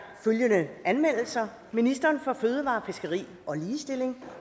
følgende anmeldelser ministeren for fødevarer fiskeri og ligestilling